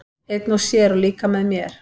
Einn og sér, og líka með mér.